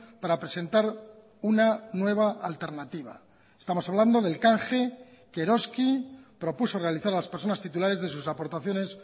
para presentar una nueva alternativa estamos hablando del canje que eroski propuso realizar a las personas titulares de sus aportaciones